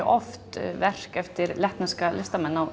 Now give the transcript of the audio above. oft verk eftir lettneska listamenn á